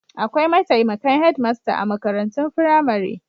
Akwai mataimakan hedmasta a makarantun firamare.